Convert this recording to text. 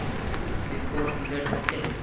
big Boss season thirteen